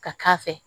Ka k'a fɛ